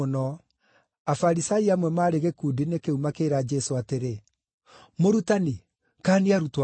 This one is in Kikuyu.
Afarisai amwe maarĩ gĩkundi-inĩ kĩu makĩĩra Jesũ atĩrĩ, “Mũrutani, kaania arutwo aku!”